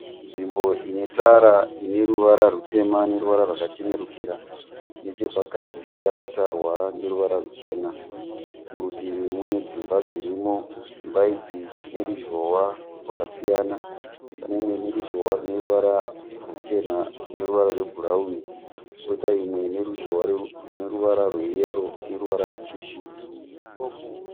Nzvimbo ine tara ine ruvara rutema neruvara rwakachenurukira nechapakati yakatarwa neruvara ruchena murutivi mune dzimba dzirimo. Dzimba idzi dzine ruzhowa rwakasiyana, pane imwe ine ruzhowa rine ruvara ruchena neruvara rwebhurauni koita imwe ine ruzhowa rine ruvara rweyero neruvara rutsvuku.